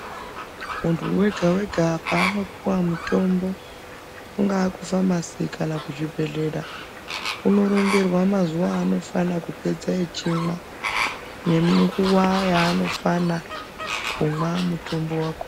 Muntu wega-wega paanopuwa mutombo kungaa kufamasi kana kuzvibhehlera unoronzerwa mazuwa aanofana kupedza echimwa, nemunguwa yaanofana kumwa mutombo wako..